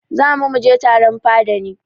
Za mu mu je taron fada ne.